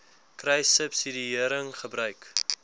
kruissubsidiëringgebruik